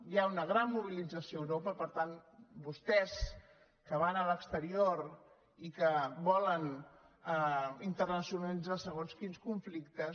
hi ha una gran mobilització a europa per tant vostès que van a l’exterior i que volen internacionalitzar segons quins conflictes